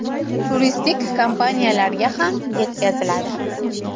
Turistik kompaniyalarga ham yetkaziladi.